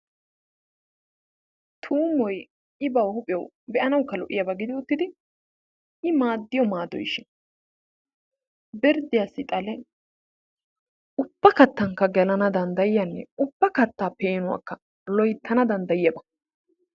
Tuummoy i ba huuphiyawukka be'anawukka lo'iyaba giddid, i maadiyo maadoykka birdiyawukka xale ubba katankka gelana dandayiyanne ubba kataakka loyttana danddayiyaaba.